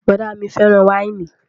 Bọ̀ọ̀dá mi fẹ́ràn wáìnì